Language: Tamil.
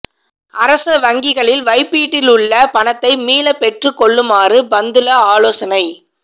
அரச வங்கிகளில் வைப்பிலிட்டுள்ள பணத்தை மீளப் பெற்றுக் கொள்ளுமாறு பந்துல ஆலோசனை